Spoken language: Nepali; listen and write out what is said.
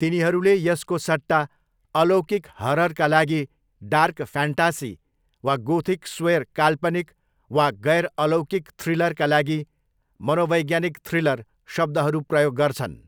तिनीहरूले यसको सट्टा अलौकिक हररका लागि डार्क फ्यान्टासी वा गोथिक स्वेर काल्पनिक, वा गैर अलौकिक थ्रिलरका लागि 'मनोवैज्ञानिक थ्रिलर' शब्दहरू प्रयोग गर्छन्।